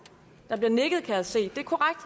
der bliver nikket kan jeg se det er korrekt